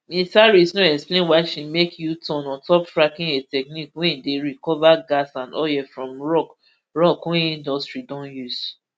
ms harris no explain why she make uturn ontop fracking a technique wey dey recover gas and oil from rock rock wey industry don use